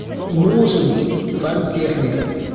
нужен сантехник